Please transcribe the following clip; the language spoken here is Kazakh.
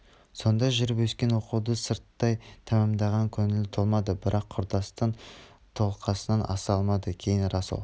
сонда жүріп өскен оқуды сырттай тәмамдаған көңілі толмады бірақ құрдастың қолқасынан аса алмады кейін рас ол